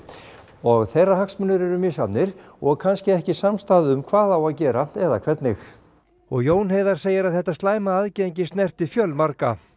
og þeirra hagsmunir eru misjafnir og kannski ekki samstaða um hvað á að gera eða hvernig og Jón Heiðar segir að þetta slæma aðgengi snerti fjölmarga